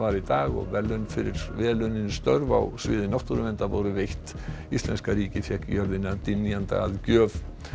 í dag verðlaun fyrir vel unnin störf á sviði náttúruverndar voru veitt íslenska ríkið fékk jörðina dynjanda að gjöf